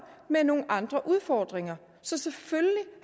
med nogle andre udfordringer så selvfølgelig